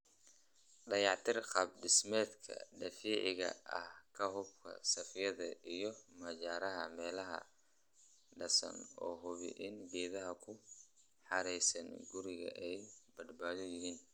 Dayactir qaab dhismeedka daciifka ah, ka hubi saqafyada iyo majaraha meelaha daadsan oo hubi in geedaha ku hareeraysan guriga ay badbaado yihiin